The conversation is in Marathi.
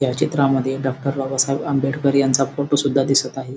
या चित्रामध्ये डॉक्टर बाबासाहेब आंबेडकर यांचा फोटो सुद्धा दिसत आहे.